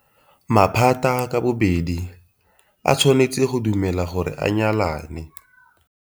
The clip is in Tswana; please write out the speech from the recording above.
Maphata ka bobedi a tshwanetse go dumela gore a nyalane.